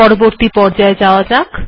পরবর্তী পর্যায় যাওয়া যাক